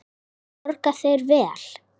Borga þeir vel?